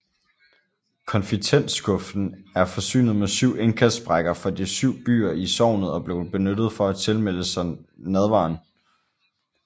Confitentskuffen er forsynet med syv indkastsprækker for de syv byer i sognet og blev benyttet for at tilmelde sig nadveren